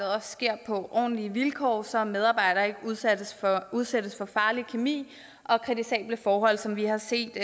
sker på ordentlige vilkår så en medarbejder ikke udsættes for farlig kemi og kritisable forhold som vi har set